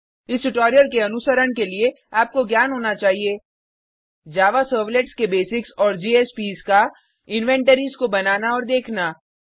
इस ट्यूटोरियल के अनुसरण के लिए आपको ज्ञान होना चाहिए जावा सर्वलेट्स के बेसिक्स और जेएसपीएस का इन्वेंटरीज़ को बनाना और देखना